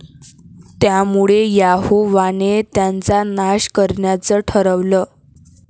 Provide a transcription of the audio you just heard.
त्यामुळे यहोवाने त्यांचा नाश करण्याचं ठरवलं.